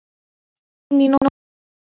Síðan hvarf hún inn í nóttina.